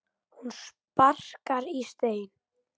Hún sparkar í stein.